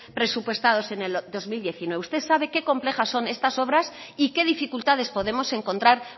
presupuestado en el dos mil diecinueve usted sabe qué complejas son estas obras y qué dificultades podemos encontrar